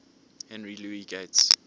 henry louis gates